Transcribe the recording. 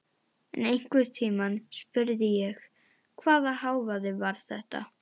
En einhvern tímann spurði ég: Hvaða hávaði var þetta?